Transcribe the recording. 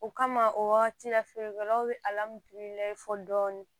O kama o wagati la feerekɛlaw bi fɔ dɔɔnin